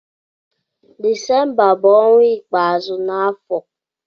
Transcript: Desemba bu ọnwa ikpazụ n'afọ